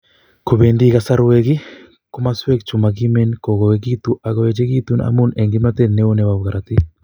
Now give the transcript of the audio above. Kobendi kasaruek, komoswek chu mogimen ko koegitu ak koechegitun amun en kimtotet neo nebo korotik